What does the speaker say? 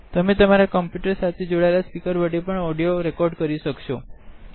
તમે તમારા કમ્પુટર સાથે જોડાયેલા સ્પીકર વડે પણ ઓડીઓ રેકોર્ડ કરી શકશો